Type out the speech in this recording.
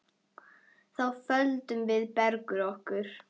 Þá földum við Bergur okkur.